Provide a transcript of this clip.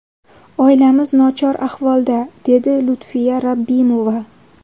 Oilamiz nochor ahvolda”, deydi Lutfiya Rabbimova.